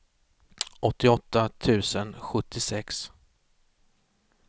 åttioåtta tusen sjuttiosex